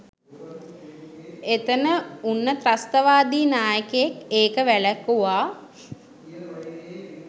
එතන උන්න ත්‍රස්තවාදී නායකයෙක් ඒක වැළැක්වුවා